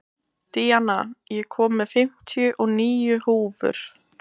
Díanna, ég kom með fimmtíu og níu húfur!